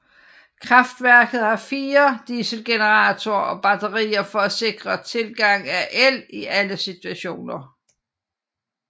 Kraftværket har fire dieselgeneratorer og batterier for at sikre tilgang af el i alle situationer